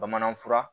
Bamanan fura